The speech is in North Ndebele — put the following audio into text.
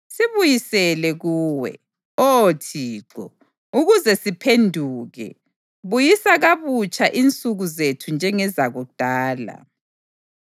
Sibuyisele kuwe, Oh Thixo, ukuze siphenduke; buyisa kabutsha insuku zethu njengezakudala,